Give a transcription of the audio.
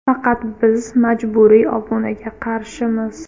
Faqat biz majburiy obunaga qarshimiz.